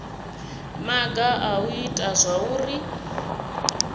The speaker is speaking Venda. maga a u ita zwauri